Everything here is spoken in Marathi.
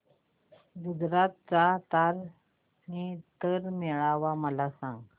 गुजरात चा तारनेतर मेळा मला सांग